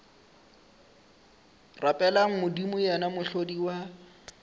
rapeleng modimo yena mohlodi wa